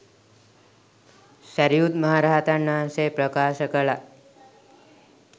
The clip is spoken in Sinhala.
සැරියුත් මහ රහතන් වහන්සේ ප්‍රකාශ කළා.